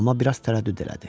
Amma biraz tərəddüd elədi.